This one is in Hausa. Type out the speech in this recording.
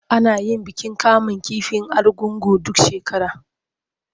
Ana yin bikin kamun kifi na Argungu duk shekara.